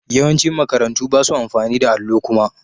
Yawancin makarantu ba su amfani da allo kuma.